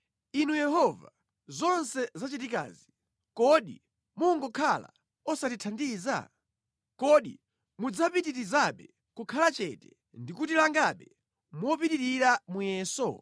Inu Yehova, zonse zachitikazi, kodi mungokhala osatithandiza? Kodi mudzapitirizabe kukhala chete ndi kutilangabe mopitirira muyeso?